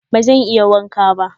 Bazan iya wanka ba.